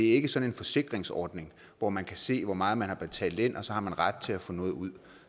ikke sådan en forsikringsordning hvor man kan se hvor meget man har betalt ind og så har man ret til at få noget ud